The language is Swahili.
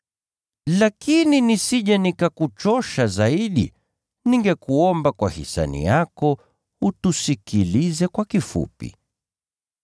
Lakini nisije nikakuchosha zaidi, ningekuomba kwa hisani yako utusikilize kwa kifupi.